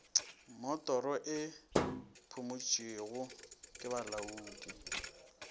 mmotoro e phumotšwego ke bolaodi